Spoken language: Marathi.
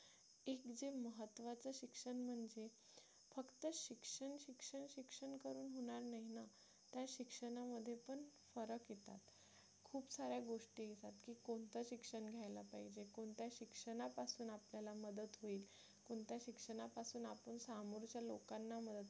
शिक्षणामध्ये पण फरक येतात सार्‍या गोष्टी येतात की कोणतं शिक्षण घ्यायला पाहिजे कोणत्या शिक्षणापासून आपल्याला मदत होईल कोणत्या शिक्षणापासून आपण समोरच्या लोकांना मदत करू